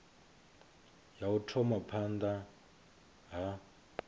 ya u thoma phanda ha